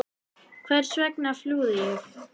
Hvers vegna flúði ég?